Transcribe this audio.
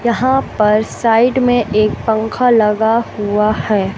यहां पर साइड में एक पंखा लगा हुआ है।